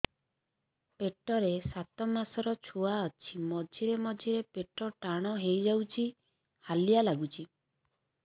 ପେଟ ରେ ସାତମାସର ଛୁଆ ଅଛି ମଝିରେ ମଝିରେ ପେଟ ଟାଣ ହେଇଯାଉଚି ହାଲିଆ ଲାଗୁଚି